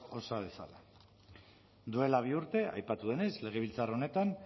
osa dezala duela bi urte aipatu denez legebiltzar honetan